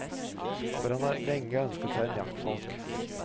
For han har lenge ønsket seg en jaktfalk.